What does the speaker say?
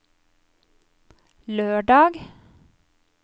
lørdag